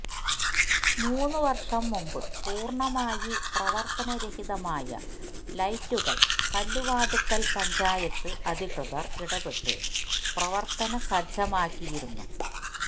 മൂന്ന് വര്ഷം മുമ്പ് പൂര്ണ്ണമായി പ്രവര്ത്തനരഹിതമായ ലൈറ്റുകള് കല്ലുവാതുക്കല് പഞ്ചായത്ത് അധികൃതര് ഇടപെട്ട് പ്രവര്ത്തനസജ്ജമാക്കിയിരുന്നു